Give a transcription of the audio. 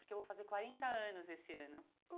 Porque eu vou fazer quarenta anos esse ano.